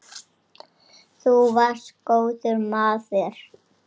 Þú varst góður maður.